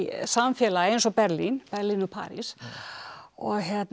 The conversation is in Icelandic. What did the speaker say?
samfélag eins og Berlín Berlín og París og